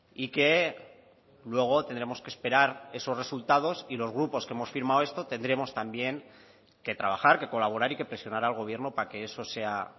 y que luego tendremos que esperar esos resultados y los grupos que hemos firmado esto tendremos también que trabajar que colaborar y que presionar al gobierno para que eso sea